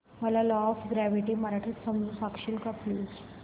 मला law of gravity मराठीत समजून सांगशील का प्लीज